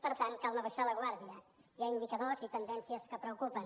per tant cal no abaixar la guàrdia hi ha indicadors i tendències que preocupen